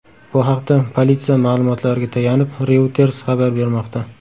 Bu haqda politsiya ma’lumotlariga tayanib Reuters xabar bermoqda .